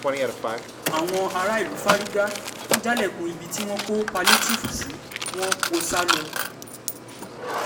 àwọn aráàlú fárígá wọn jálẹ̀kùn ibi tí wọ́n kó pálíétììfù sí wọn kó o sá lọ